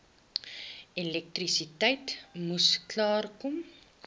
elektrisiteit moes klaarkom